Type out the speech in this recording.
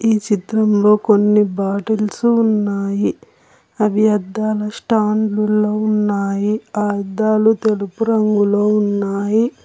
ఈ చిత్రంలో కొన్ని బాటిల్స్ ఉన్నాయి అవి అద్దాలు స్టాండులో ఉన్నాయి ఆ అద్దాలు తెలుపు రంగులో ఉన్నాయి.